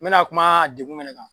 N bi na kuma dekun munnu kan